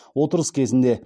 отырыс кезінде